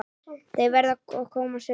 Þau verða að koma suður!